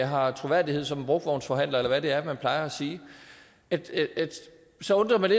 har troværdighed som en brugtvognsforhandler eller hvad det er man plejer at sige så undrer det